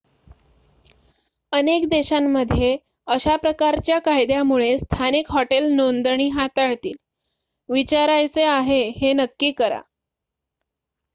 अनेक देशांमध्ये अशा प्रकारच्या कायद्यामुळे स्थानिक हॉटेल नोंदणी हाताळतील विचारायचे आहे हे नक्की करा